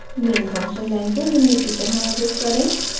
main function line को निम्न की तरह एडिट करें: